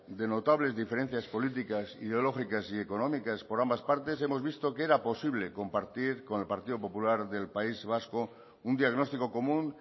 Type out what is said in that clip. de notables diferencias políticas ideológicas y económicas por ambas partes hemos visto que era posible compartir con el partido popular del país vasco un diagnóstico común